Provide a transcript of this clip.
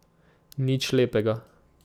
Nič lepega.